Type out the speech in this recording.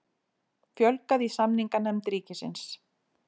Fjölgað í samninganefnd ríkisins